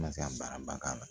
Ka se ka baaraba k'a la